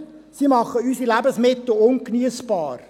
Sie machen unsere Lebensmittel ungeniessbar.